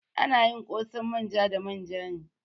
Ana yin ƙosan manja da manja ne.